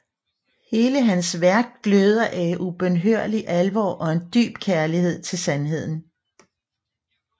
Hele hans værk gløder af ubønhørlig alvor og en dyb kærlighed til sandheden